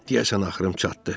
Deyəsən axırım çatdı.